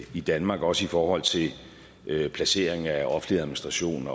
i danmark også i forhold til placering af offentlig administration